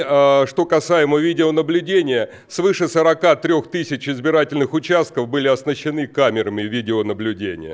что касаемо видеонаблюдения свыше сорока трёх тысяч избирательных участков были оснащены камерами видеонаблюдения